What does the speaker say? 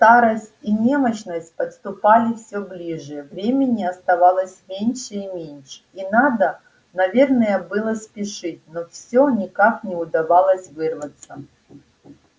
старость и немощность подступали всё ближе времени оставалось меньше и меньше и надо наверное было спешить но всё никак не удавалось вырваться